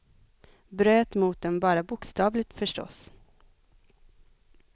Bröt mot dem bara bokstavligt, förstås.